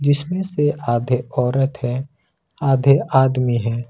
जिसमें से आधे औरत है आधे आदमी है।